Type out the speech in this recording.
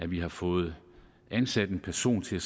vi har fået ansat en person til at